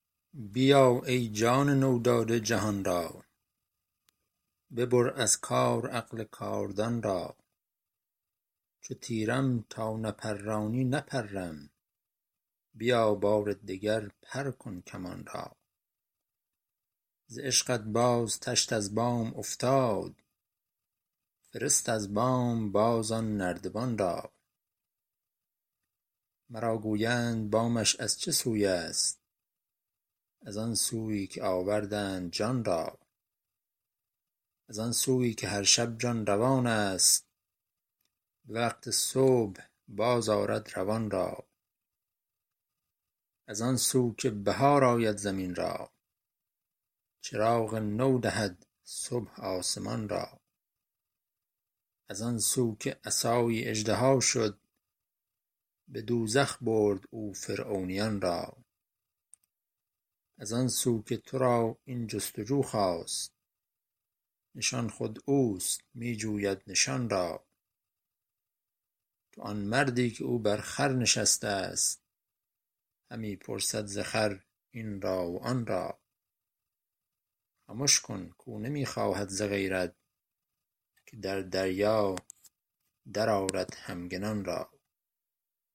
بیا ای جان نو داده جهان را ببر از کار عقل کاردان را چو تیرم تا نپرانی نپرم بیا بار دگر پر کن کمان را ز عشقت باز تشت از بام افتاد فرست از بام باز آن نردبان را مرا گویند بامش از چه سوی است از آن سویی که آوردند جان را از آن سویی که هر شب جان روان است به وقت صبح بازآرد روان را از آن سو که بهار آید زمین را چراغ نو دهد صبح آسمان را از آن سو که عصایی اژدها شد به دوزخ برد او فرعونیان را از آن سو که تو را این جست و جو خاست نشان خود اوست می جوید نشان را تو آن مردی که او بر خر نشسته است همی پرسد ز خر این را و آن را خمش کن کاو نمی خواهد ز غیرت که در دریا درآرد همگنان را